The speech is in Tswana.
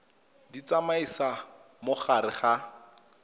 di tsamaisa mo gare ga